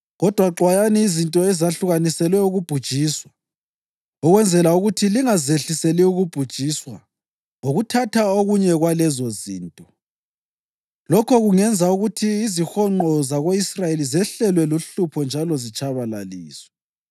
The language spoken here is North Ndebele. Kodwa xwayani izinto ezahlukaniselwe ukubhujiswa, ukwenzela ukuthi lingazehliseli ukubhujiswa ngokuthatha okunye kwalezozinto. Lokho kungenza ukuthi izihonqo zako-Israyeli zehlelwe luhlupho njalo zitshabalaliswe.